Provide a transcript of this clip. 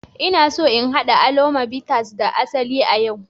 Ina so in haɗa alomo bitters da asali a yau